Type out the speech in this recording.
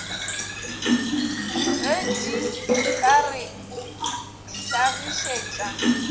ge di ka re hlagišetša